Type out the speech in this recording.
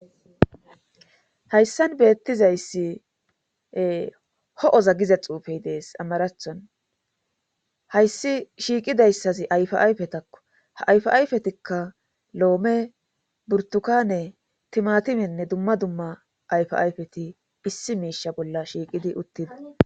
Hayssan beettizayssi ee ho7oza giza xuufe de7ees amarathon hayssi shiiqidayssazi ayfaayfetako ha ayfaayfetikka loome,burttukaane,timaatimenne dumma dumma ayfaayfeti issi miishsha bolla shiiqidi utti.